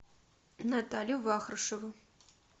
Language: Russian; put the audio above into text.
наталью вахрушеву